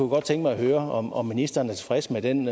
godt tænke mig at høre om om ministeren er tilfreds med den